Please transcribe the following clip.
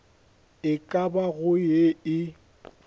e ka bago ye e